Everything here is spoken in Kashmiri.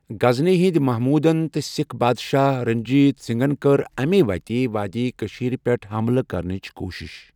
غزنی ہٕنٛدۍ محمودن تہٕ سکھ بادشاہ رنجیت سنگھن کٔر امی وتہِ وادی کٔشیٖر پٮ۪ٹھ حملہٕ کرنٕچ کوٗشِش۔